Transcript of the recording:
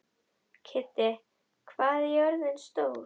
Kiddi, hvað er jörðin stór?